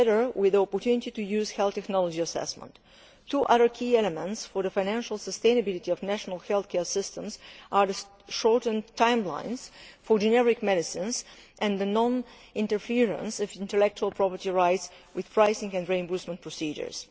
with the opportunity to use health technology assessments. Two other key elements for the financial sustainability of national healthcare systems are the shortened timelines for generic medicines and the non interference of intellectual property rights with pricing and reimbursement procedures.